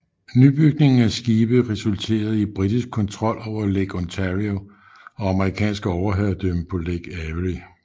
Nybygningen af skibe resulterede i britisk kontrol over Lake Ontario og amerikansk overherredømme på Lake Erie